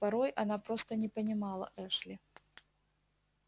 порой она просто не понимала эшли